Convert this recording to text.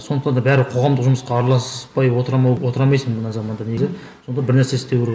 сондықтан да бәрі қоғамдық жұмысқа араласпай отыра отыра алмайсың мына заманда негізі сонда бір нәрсе істеу керек